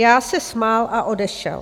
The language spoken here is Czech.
Já se smál a odešel.